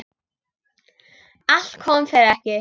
Allt kom fyrir ekki.